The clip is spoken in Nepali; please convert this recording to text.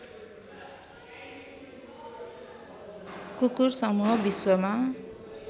कुकुर समूह विश्वमा